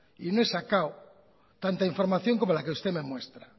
y no he sacado tanta información como la que usted me muestra